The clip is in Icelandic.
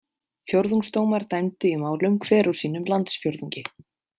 Fjórðungsdómar dæmdu í málum hver úr sínum landsfjórðungi.